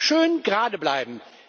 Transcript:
Schön gerade bleiben!